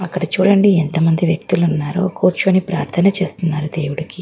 అక్కడ చూడండి ఎంత మంది వ్యక్తులు ఉన్నారో కూర్చొని ప్రార్ధన చేస్తున్నారు దేవుడుకి.